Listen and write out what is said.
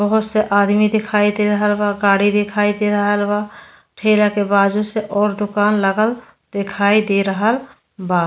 बोहोत से आदमी दिखाई दे रहल बा। गाड़ी दिखाई दे रहल बा। ठेला के बाजू से और दुकान लागल देखाई दे रहल बा।